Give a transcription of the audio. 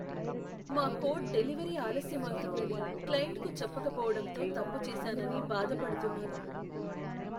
మా code delivery ఆలస్యమవుతుందని క్లయింట్కు చెప్పకపోవటంతో తప్పు చేసానని బాధపడుతున్నాను.